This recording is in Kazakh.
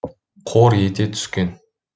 қор ете түскен